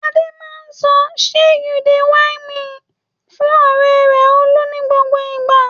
Adé máa sọ "ṣe you dey whine me" fún ọ̀rẹ́ rẹ̀ Olú ní gbogbo ìgbà.